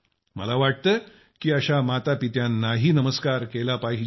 मला वाटतं की अशा मातापित्यांनाही नमस्कार केला पाहिजे